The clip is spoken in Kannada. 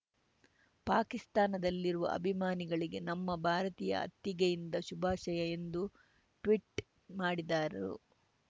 ಪಾಕಿಸ್ತಾನದಲ್ಲಿರುವ ಅಭಿಮಾನಿಗಳಿಗೆ ನಮ್ಮ ಭಾರತೀಯ ಅತ್ತಿಗೆಯಿಂದ ಶುಭಾಶಯ ಎಂದು ಟ್ವೀಟ್‌ ಮಾಡಿದ್ದಾರು